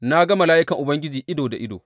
Na ga mala’ikan Ubangiji ido da ido.